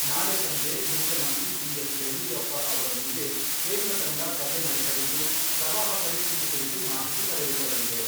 ನಾಳೆ ಸಂಜೆ ಮುಖ್ಯಮಂತ್ರಿ ಬಿ.ಎಸ್. ಯಡಿಯೂರಪ್ಪ ಅವರೊಂದಿಗೆ ಕೇಂದ್ರ ತಂಡ ಸಭೆ ನಡೆಸಲಿದ್ದು, ಪ್ರವಾಹ ಪರಿಸ್ಥಿತಿ ಕುರಿತು ಮಾಹಿತಿ ಪಡೆದುಕೊಳ್ಳಲಿದೆ.